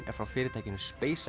er frá fyrirtækinu